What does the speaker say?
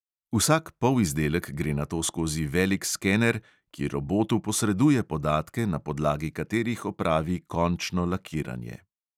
Vsak polizdelek gre nato skozi velik skener, ki robotu posreduje podatke, na podlagi katerih opravi končno lakiranje.